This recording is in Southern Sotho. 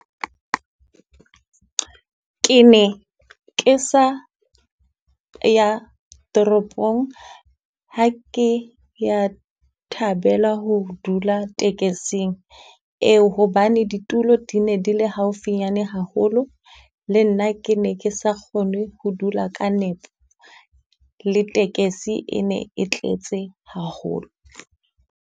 Ke ne ke sa ya toropong ha ke ya thabela ho dula tekesing eo, hobane ditulo di ne di le haufinyana haholo. Le nna ke ne ke sa kgone ho dula ka nepo, le tekesi e ne e tletse haholo.